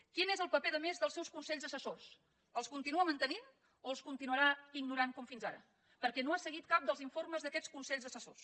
quin és el paper a més dels seus consells assessors els continua mantenint o els continuarà ignorant com fins ara perquè no ha seguit cap dels informes d’aquests consells assessors